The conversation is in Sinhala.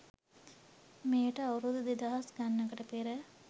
මෙයට අවුරුදු දෙදහස් ගණනකට පෙර